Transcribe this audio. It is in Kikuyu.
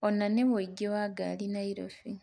onanĩa ũingĩ wa ngari Nairobi